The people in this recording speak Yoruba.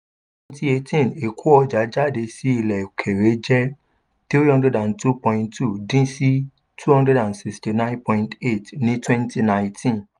twenty eighteen ìkó ọjà jáde sí ilẹ̀ òkèèrè jẹ́ three hundred and two point two dín sí two hundred and sixty nine point eight ní twenty nineteen